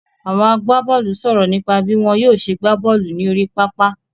Àwọn agbábọ́ọ́lù sọ̀rọ̀ nípa bí wọ́n yóò ṣe gbá bọ́ọ́lù ní orí pápá.